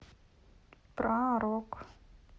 про рок